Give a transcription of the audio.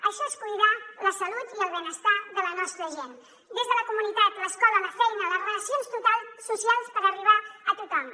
això és cuidar la salut i el benestar de la nostra gent des de la comunitat l’escola la feina les relacions socials per arribar a tothom